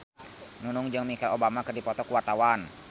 Nunung jeung Michelle Obama keur dipoto ku wartawan